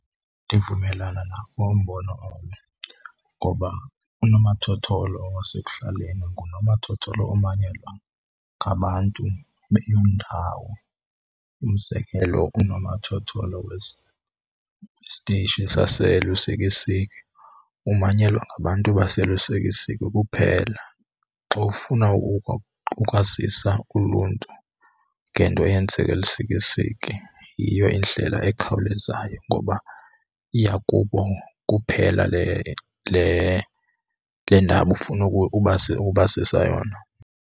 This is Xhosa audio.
Ndivumelana nawo umbono , ngoba unomathotholo wasekuhlaleni ngunomathotholo omanyelwa ngabantu beyoo ndawo. Umzekelo, unomathotholo wesitishi saseLusikisiki umanyelwa ngabantu baseLusikisiki kuphela. Xa ufuna ukwazisa uluntu ngento eyenzeka eLusikisiki yiyo indlela ekhawulezayo ngoba iya kubo kuphela le ndaba ufuna ukubazisa yona.